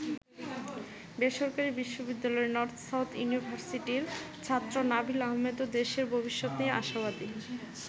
বেসরকারি বিশ্ববিদ্যালয় নর্থ-সাউথ ইউনিভার্সিটির ছাত্র নাবিল আহমেদও দেশের ভবিষ্যত নিয়ে আশাবাদী।